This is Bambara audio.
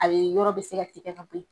Ayi yɔrɔ bɛ se ka tigɛ ka bɔ yen